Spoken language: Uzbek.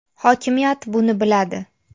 Hokimiyat buni biladi.